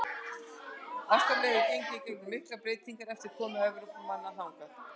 Ástralía hefur gengið í gegnum miklar breytingar eftir komu Evrópumanna þangað.